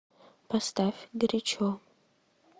поставь горячо